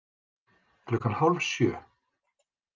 Klukkan hálf sjö